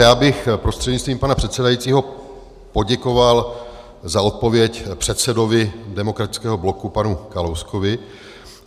Já bych prostřednictvím pana předsedajícího poděkoval za odpověď předsedovi Demokratického bloku panu Kalouskovi.